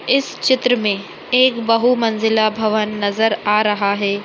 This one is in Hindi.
इस चित्र में एक बहुमंजिला भवन नजर आ रहा है।